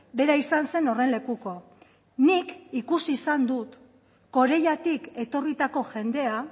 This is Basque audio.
bera izan zen horren lekuko nik ikusi izan dut corellatik etorritako jendea